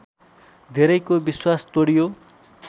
धेरैको विश्वास तोडियो